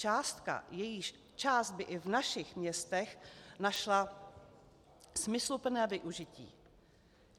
Částka, jejíž část by i v našich městech našla smysluplné využití.